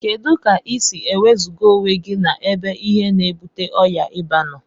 Kedu ka isi ewezuga onwegi na ebe ihe na ebute ọya iba noo?